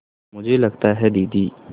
मुझे लगता है दीदी